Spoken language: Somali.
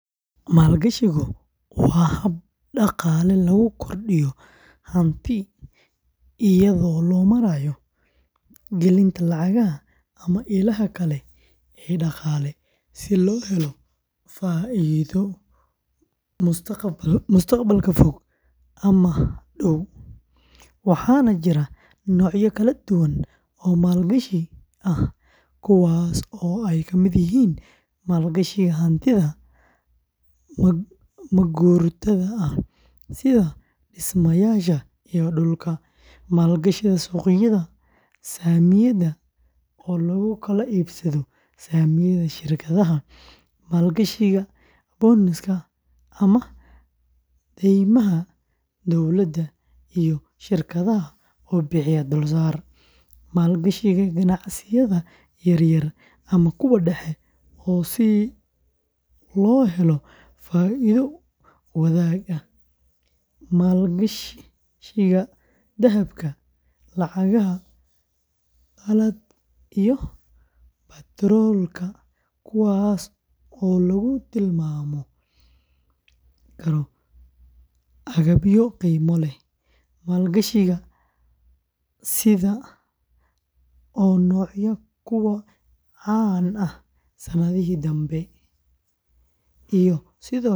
Maalgashigu waa hab dhaqaale lagu kordhiyo hanti iyadoo loo marayo gelinta lacag ama ilaha kale ee dhaqaale si loo helo faa’iido mustaqbalka fog ama dhow, waxaana jira noocyo kala duwan oo maalgashi ah kuwaas oo ay ka mid yihiin maalgashiga hantida ma-guurtada ah sida dhismayaasha iyo dhulka, maalgashiga suuqyada saamiyada oo lagu kala iibsado saamiyada shirkadaha, maalgashiga bonds-ka ama daymaha dowladda iyo shirkadaha oo bixiya dulsaar, maalgashiga ganacsiyada yaryar ama kuwa dhexe si loo helo faa’iido wadaag ah, maalgashiga dahabka, lacagaha qalaad iyo batroolka kuwaas oo lagu tilmaami karo agabyo qiimo leh, maalgashiga fintech-ka oo noqday kuwo caan ah sanadihii dambe.